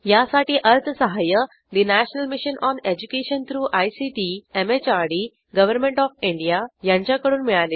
यासाठी अर्थसहाय्य national mission on education through ICT MHRD government of India यांच्याकडून मिळालेले आहे